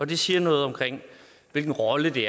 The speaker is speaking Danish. det siger noget om hvilken rolle de